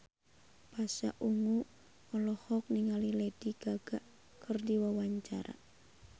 Pasha Ungu olohok ningali Lady Gaga keur diwawancara